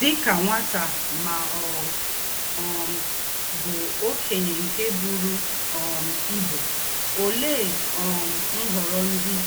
Dí ká nwátá mà ọ̀ um bú òkényé nké bùrù um íbú, óléé um ǹhọ́rọ́ ndí́